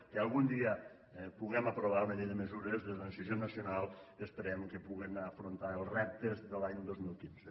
que algun dia puguem aprovar una llei de mesures de transició nacional que esperem que puguen afrontar els reptes de l’any dos mil quinze